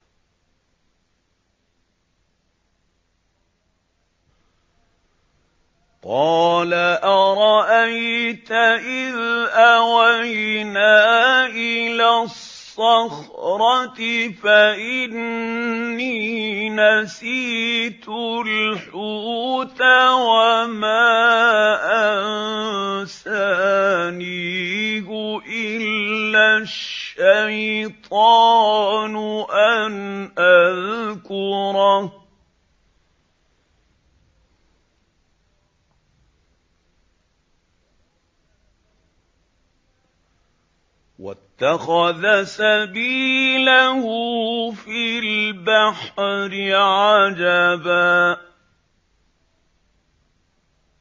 قَالَ أَرَأَيْتَ إِذْ أَوَيْنَا إِلَى الصَّخْرَةِ فَإِنِّي نَسِيتُ الْحُوتَ وَمَا أَنسَانِيهُ إِلَّا الشَّيْطَانُ أَنْ أَذْكُرَهُ ۚ وَاتَّخَذَ سَبِيلَهُ فِي الْبَحْرِ عَجَبًا